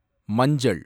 மஞ்சள்